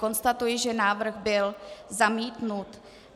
Konstatuji, že návrh byl zamítnut.